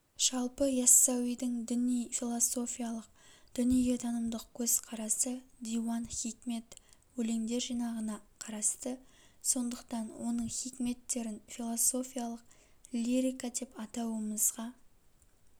жалпы иассауидің діни-философиялық дүниетанымдық көзқарасы диуан хикмет өлеңдер жинағында қарасты сондықтан оның хикметтерін философиялық лирика деп атауымызға